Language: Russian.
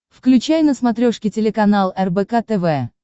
включай на смотрешке телеканал рбк тв